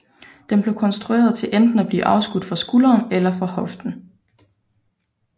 Den blev konstrueret til enten at blive afskudt fra skulderen eller fra hoften